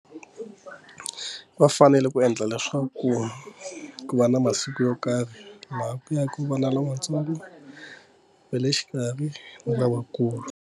Va fanele ku endla leswaku ku va na masiku yo karhi laha ku ya hi ku van'wana matsolo ve le xikarhi va nga va kula.